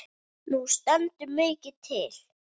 Nú stendur mikið til.